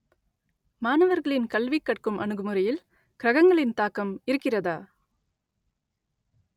மாணவர்களின் கல்வி கற்கும் அணுகுமுறையில் கிரகங்களின் தாக்கம் இருக்கிறதா